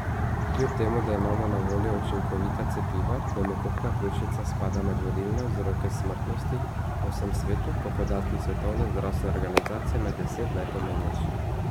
Kljub temu da imamo na voljo učinkovita cepiva, pnevmokokna pljučnica spada med vodilne vzroke smrtnosti po vsem svetu, po podatkih Svetovne zdravstvene organizacije med deset najpomembnejših.